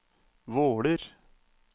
Våler